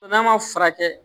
N'a ma furakɛ